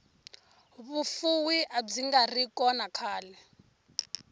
vufuvi abyingari kona khale